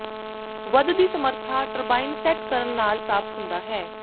ਵੱਧ ਦੀ ਸਮਰੱਥਾ ਟਰਬਾਈਨ ਸੈੱਟ ਕਰਨ ਨਾਲ ਪ੍ਰਾਪਤ ਹੁੰਦਾ ਹੈ